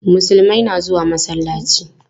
Musulmai na zuwa masallaci.